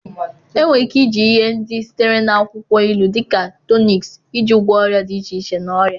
Enwere ike iji ihe ndị sitere na akwukwo ilu dị ka tọniki iji gwọọ ọrịa dị iche iche na ọrịa.